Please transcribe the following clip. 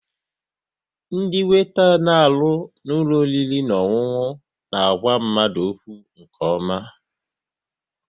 Ndị weeta na arụ n'ụlọ oriri na ọṅụṅụ na àgwà mmadụ okwu nke ọma